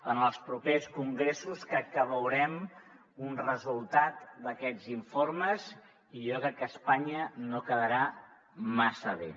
en els propers congressos crec que veurem un resultat d’aquests informes i jo crec que espanya no quedarà massa bé